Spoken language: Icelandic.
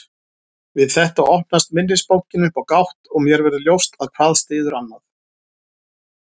Við þetta opnast minnisbankinn upp á gátt og mér verður ljóst að hvað styður annað.